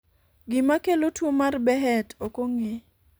gima kelo tuo mar Behet ok ong'e